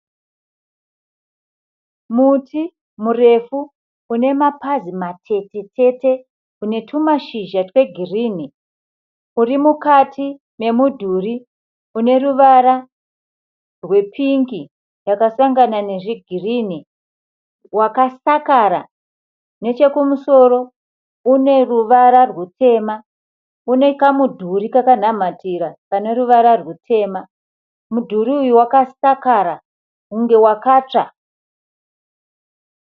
Muti murefu une mapazi matetetete une tumashizha twegirinhi. Uri mukati memudhuri une ruvara rwepingi yakasangana nezvigirinhi wakasakara. Nechekumusoro une ruvara rutema. Une kamudhuri kakanhamatira kane ruvara rutema. Mudhuri uyu wakasara kunge wakatsva.